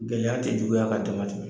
Gɛlɛya tɛ juguya ka dama tɛmɛ.